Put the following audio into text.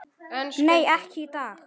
Nei, ekki í dag.